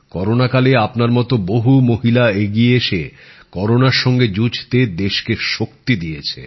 corona কালে আপনার মত বহু মহিলা এগিয়ে এসে করোনার সঙ্গে যুঝতে দেশকে শক্তি দিয়েছে